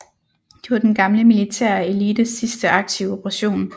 Det var den gamle militære elites sidste aktive operation